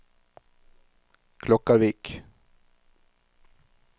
Klokkarvik